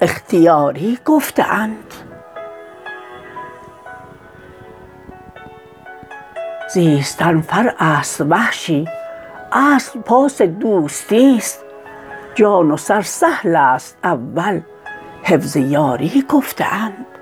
اختیاری گفته اند زیستن فرع ست وحشی اصل پاس دوستی ست جان و سر سهل ست اول حفظ یاری گفته اند